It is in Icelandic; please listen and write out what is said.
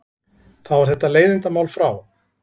Þá er þetta leiðindamál frá.